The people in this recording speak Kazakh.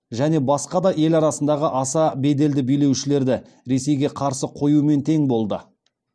және басқа ел арасындағы аса беделді билеушілерді ресейге қарсы қоюмен тең болды